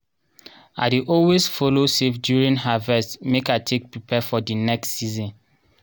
i dey always follow save during harvest make i take prepare for di next season.